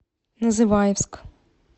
называевск